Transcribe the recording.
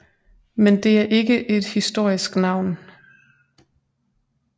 Men det er ikke et historisk navn